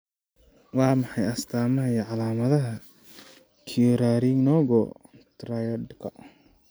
Waa maxay astamaha iyo astaamaha Currarinogo triadka?